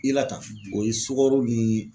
I la tan o ye sukaro ni